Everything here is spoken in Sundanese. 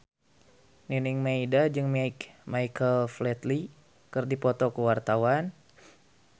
Nining Meida jeung Michael Flatley keur dipoto ku wartawan